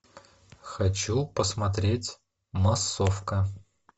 хочу посмотреть массовка